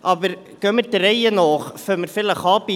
Aber gehen wir der Reihen nach vor.